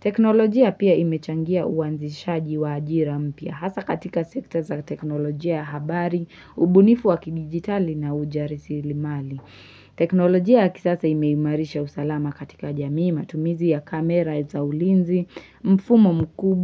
Teknolojia pia imechangia uanzishaji wa ajira mpya. Hasa katika sekta za teknolojia ya habari, ubunifu wa kidigitali na ujarisilimali. Teknolojia ya kisasa imeimarisha usalama katika jamii matumizi ya kamera, za ulinzi, mfumo mkubwa.